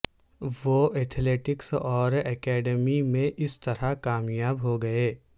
وہ ایتھلیٹکس اور اکیڈمی میں اسی طرح کامیاب ہوگئے